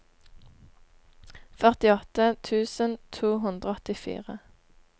førtiåtte tusen to hundre og åttifire